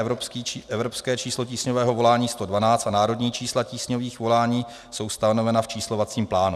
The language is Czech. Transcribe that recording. Evropské číslo tísňového volání 112 a národní čísla tísňových volání jsou stanovena v číslovacím plánu.